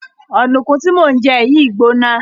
Ọ̀dùnkún tí mò ń jẹ yìí gbóná.